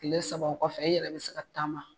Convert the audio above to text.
Tile saba o kɔfɛ i yɛrɛ bɛ se ka taama